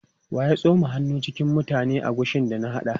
Wa ya tsoma hannu cikin mutane agushin da na haɗa?